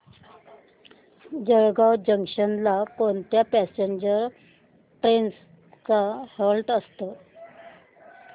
Jalgaon junction ला कोणत्या passenger trains चा हॉल्ट असतो